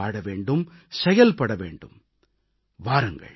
இந்த உறுதிப்பாட்டோடு வாழ வேண்டும் செயல்பட வேண்டும்